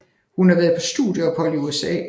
Hun har været på studieophold i USA